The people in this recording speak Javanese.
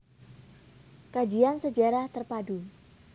Kajian Sejarah Terpadu